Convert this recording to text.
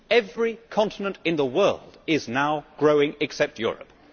Every continent in the world is now growing, except Europe.